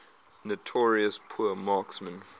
notorious poor marksmen